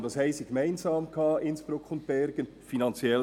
Und was hatten Innsbruck und Bergen gemeinsam?